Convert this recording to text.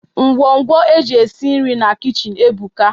Ngwo ngwo eji esi nri na kichin ebuka.